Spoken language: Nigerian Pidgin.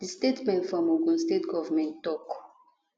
di statement from ogun state govment tok